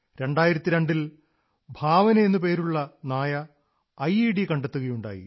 2002 ൽ ഭാവന എന്നു പേരുള്ള നായ ഐഇഡി കണ്ടെത്തുകയുണ്ടായി